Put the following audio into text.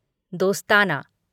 दोस्ताना